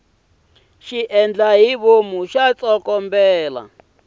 xiendlahivomu xa tsokombela